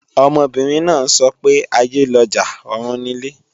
Ọmọbìnrin náà ń sọ pé "aiyé lọjà, ọ̀run nilé"